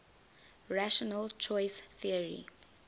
rational choice theory